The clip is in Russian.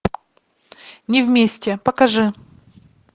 не вместе покажи